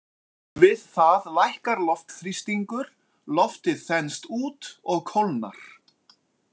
Við það lækkar loftþrýstingur, loftið þenst út og kólnar.